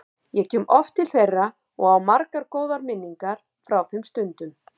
Ég kom oft til þeirra og á margar góðar minningar frá þeim stundum.